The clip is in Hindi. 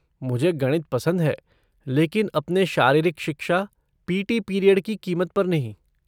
मुझे गणित पसंद है लेकिन अपने शारीरिक शिक्षा, पी टी पीरियड की कीमत पर नहीं।